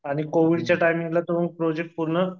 आणि कोविडच्या टाईमिंगला तो प्रोजेक्ट पूर्ण